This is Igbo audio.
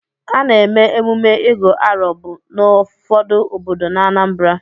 Ana-eme emume Ịgu arọ bụ n'ụfọdụ obodo n'Anambara.